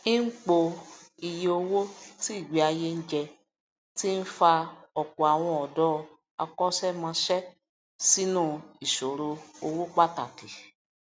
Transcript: ìnpọ iye owó tí ìgbé ayé ń jẹ ti ń fa ọpọ àwọn ọdọ akóṣẹmósẹ sínú ìṣòro owó pàtàkì